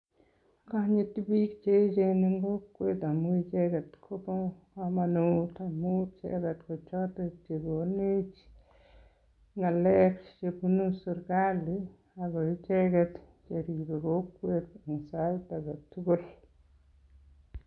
Agonyiti biik che eechen en kokwet amun icheget kobo komonut amunt icheget kochot che konech ng'alek che bunu serkalit ago icheget che ribe kokwet sait age tugul.